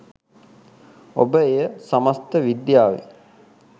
ඔබ එය සමස්ත විද්‍යාවේ